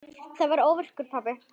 Ég varð óvirkur pabbi.